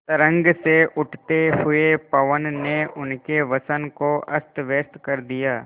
तरंग से उठते हुए पवन ने उनके वसन को अस्तव्यस्त कर दिया